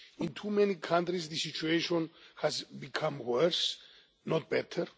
In too many countries the situation has become worse, not better.